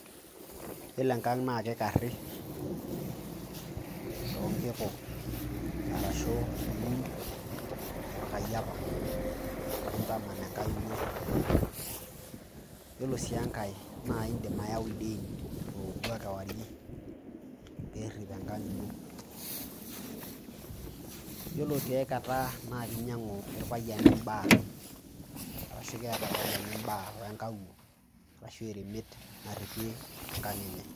Iyiolo enkang' naa kikari too nkiku ashu iun orkayiapa, nintaman enkang' ino. Iyiolo sii enkae naa indim ayau ildiain loobuak kewarie pee erip enkang' ino. Yiolo tiai kata naake inyang'u irpayiani mbaa arashu keeta irpayiani mbaa we nkawuo arashu eremet naripie enkang' enye.